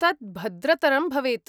तत् भद्रतरं भवेत्।